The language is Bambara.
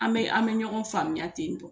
An bɛ an bɛ ɲɔgɔn faamuya ten tɔ